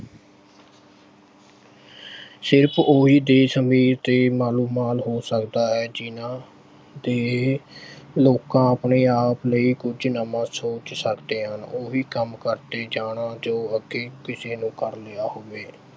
ਸਿਰਫ ਉਹੀ ਦੇਸ਼ ਅਮੀਰ ਤੇ ਮਾਲੋਮਾਲ ਹੋ ਸਕਦਾ ਹੈ ਜਿੰਨ੍ਹਾਂ ਦੇ ਲੋਕਾਂ ਆਪਣੇ-ਆਪ ਲਈ ਕੁਝ ਨਵਾਂ ਸੋਚ ਸਕਦੇ ਹਨ ਉਹੀ ਕੰਮ ਕਰਦੇ ਜਾਣਾ ਜੋ ਅੱਗੇ ਕਿਸੇ ਨੇ ਕਰ ਲਿਆ ਹੋਵੇ